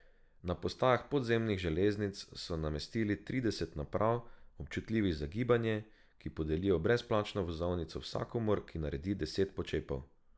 Na postajah podzemnih železnic so namestili trideset naprav, občutljivih za gibanje, ki podelijo brezplačno vozovnico vsakomur, ki naredi deset počepov.